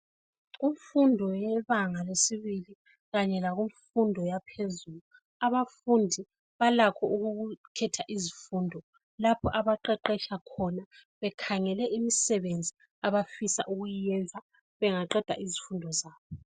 Kumfundo yebanga lesibili kanye lakumfundo yaphezulu, abafundi balakho ukukhetha izifundo lapho abaqeqetsha khona. Bekhangele imsebenzi abafisa ukuyenza bengaqeda izifundo zabo.